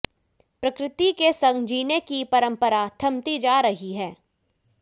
प्रकृति के संग जीने की परंपरा थमती जा रही है